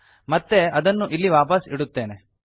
ಮತ್ತೆ ಅದನ್ನು ಇಲ್ಲಿ ವಾಪಸ್ ಇಡುತ್ತೇನೆ